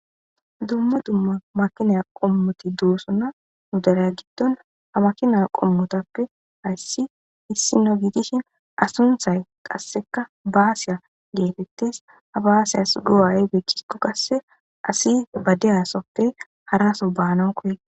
dumma dumma makinaya qommoti doosona nu daraya giddon ha makina qommotappe hayssi issino giitishin asunthay qasseka baasiya geetettes ha baasiyas go7ayy beekiko kasse asi badeyasoppe haraso baanon koye